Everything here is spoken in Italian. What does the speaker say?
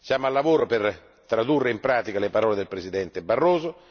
Siamo al lavoro per tradurre in pratica le parole del presidente Barroso